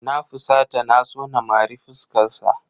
Na fusata na so na mari fuskarsa.